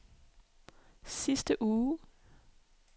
sidste uge